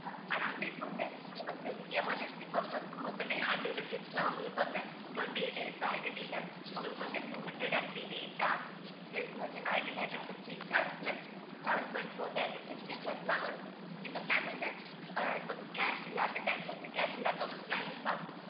இந்த plan வந்து cash இல்லாத time வந்து cash இல்லாதவங்களுக்கு use ஆகும்.